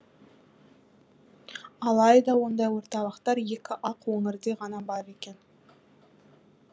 алайда ондай орталықтар екі ақ өңірде ғана бар екен